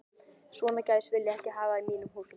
Svona gæs vil ég ekki hafa í mínum húsum.